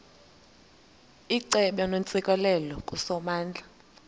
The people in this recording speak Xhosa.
icebo neentsikelelo kusomandla